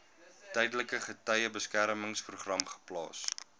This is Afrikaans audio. tydelike getuiebeskermingsprogram geplaas